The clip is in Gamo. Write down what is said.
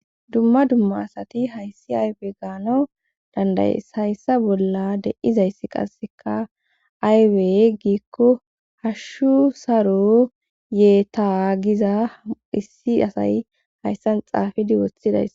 dumma dumma asati hayssi aybe gaanawu dandayes hayssa bolla de7izayssi qasseka aybey giikko hashshu saro yee tagiza issi asay hayssan xaafidi woththidays